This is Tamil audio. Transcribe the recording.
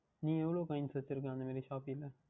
நீ எவ்வளவு Coins வைத்து இருக்கின்றாய் அந்த மாதிரி Shopee யில்